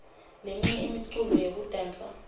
leminye imiculo yekudansa